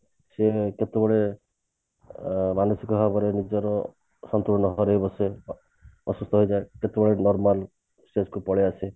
ସେ ପୁଣି କେତେବେଳେ ଅ ମାନସିକ ଭାବରେ ନିଜର ସନ୍ତୁଳନ ହରେଇ ବସେ ଅସୁସ୍ଥ ହେଇଯାଏ କେତେବେଳେ normal stage କୁ ପଳେଈ ଆସେ